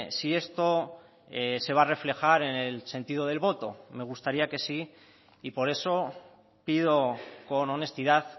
si esto se va a reflejar en el sentido del voto me gustaría que sí y por eso pido con honestidad